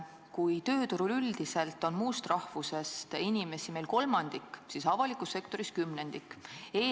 Kui meie tööturul üldiselt on muust rahvusest inimesi kolmandik, siis avalikus sektoris kümnendik.